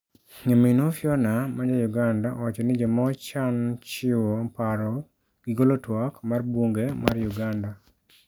Nyaminwa Fiona ma ja Uganda owacho ni joma ochan chiwo paro gi golo twak mar bunge mar Uganda